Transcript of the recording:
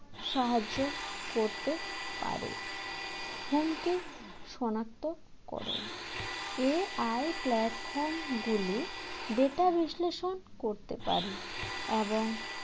সাহায্য করতে পারে। হুমকি শনাক্তকরণ AI platform গুলি data বিশ্লেষণ করতে পারে এবং